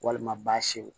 Walima baasiw